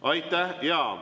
Aitäh!